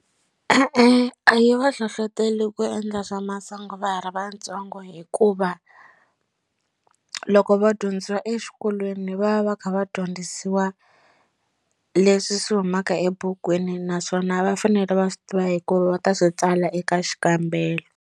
E-e, a yi va hlohloteli ku endla swa masangu va ha ri vatsongo hikuva loko va dyondzisiwa exikolweni va va kha va dyondzisiwa leswi swi humaka ebukwini naswona va fanele va swi tiva hikuva va ta swi tsala eka xikambelo.